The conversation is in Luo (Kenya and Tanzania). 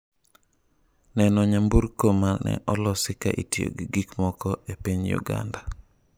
Neno nyamburko mane olosi ka itiyo gi gikmoko e piny Uganda